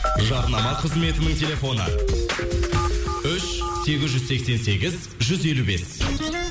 жарнама қызметінің телефоны үш сегіз жүз сексен сегіз жүз елу бес